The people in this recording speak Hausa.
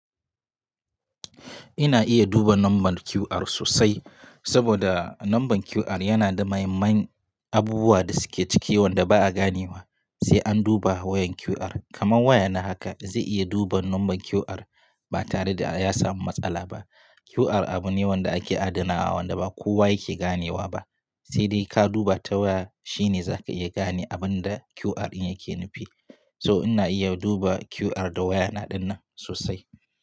Ina iya duba number QR sosai saboda number QR yana da mahim man abubuwa da suke ciki wanda ba a ganewa sai an duba wayan QR. Kaman waya na haka zai iya duba number QR ba tare da ya samu matsala ba. QR abu ne wanda ake adana wa wanda ba kowa yake ganewa ba, sai dai ka duba ta waya shine za ka iya gane abun da QR in yake nufi. So ina iya duba QR da waya na dinnan sosai.